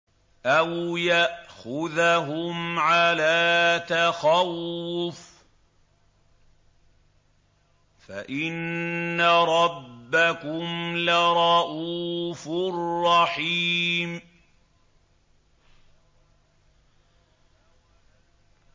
أَوْ يَأْخُذَهُمْ عَلَىٰ تَخَوُّفٍ فَإِنَّ رَبَّكُمْ لَرَءُوفٌ رَّحِيمٌ